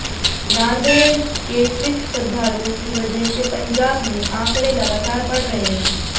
नांदेड़ के सिख श्रद्धालुओं की वजह से पंजाब में आंकड़े लगातार बढ़ रहे हैं